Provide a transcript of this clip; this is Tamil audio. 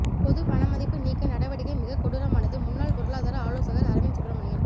பொது பணமதிப்பு நீக்க நடவடிக்கை மிக கொடூரமானது முன்னாள் பொருளாதார ஆலோசகர் அரவிந்த் சுப்ரமணியன்